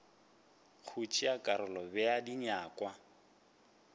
go tšea karolo bea dinyakwa